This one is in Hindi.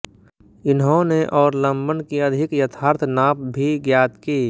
इन्होंने और लंबन की अधिक यथार्थ नाप भी ज्ञात की